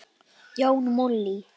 Jón Múli